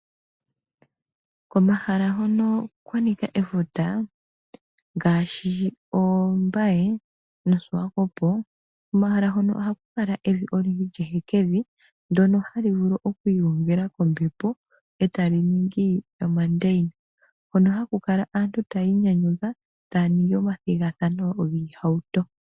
Komahala hono kwanika efuta, ngashi Ombaye no Swakopo komahala hono ohakukala evi oyindji ehekevi ndono halivulu okwingongela kombepo etaliningi omondayina hono hakukala aantu tayinyanyudha tayaningi omathingathano ngiihauto.